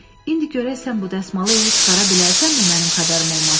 İndi görək sən bu dəsmalı elə çıxara bilərsənmi, mənim xəbərim olmasın?